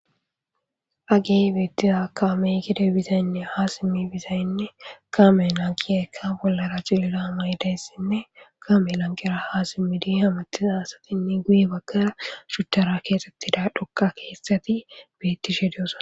Agey beettiza kaameykide bizaynne haa simmi bizaynne kaame lankiyekka bollara cilira maydayssinne kaame lanqera haasimmidi hamatisa asatinne guye baggara shuttara keexxettida dhokka keessati bettishe diyosa.